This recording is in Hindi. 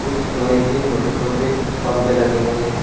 कुछ लोहे के छोटे छोटे बंबे लगे हुए हैं।